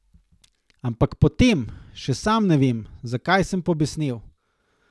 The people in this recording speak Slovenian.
Ampak potem, še sam ne vem, zakaj, sem pobesnel.